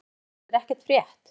Ég hef í sjálfu sér ekkert frétt.